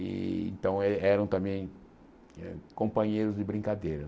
E então eh eram também companheiros de brincadeira.